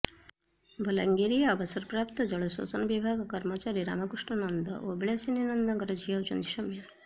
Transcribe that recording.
ବଲାଙ୍ଗୀରର ଅବସରପ୍ରାପ୍ତ ଜଳସେଚନ ବିଭାଗ କର୍ମଚାରୀ ରାମକୃଷ୍ଣ ନନ୍ଦ ଓ ବିଳାସିନୀ ନନ୍ଦଙ୍କର ଝିଅ ହେଉଛନ୍ତି ସୌମ୍ୟା